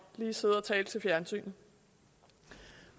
lige sidder og taler til fjernsynet